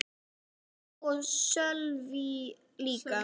Ég hló og Sölvi líka.